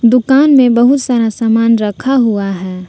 दुकान मे बहुत सारा सामान रखा हुआ है।